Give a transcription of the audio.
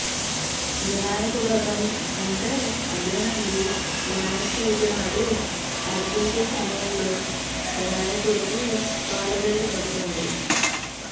వినాయక వ్రతం అంటే అదేనండి వినాయకచవితి నాడు అర్చించే సమయంలో వినాయకుడికి పాలవెల్లి కడుతారు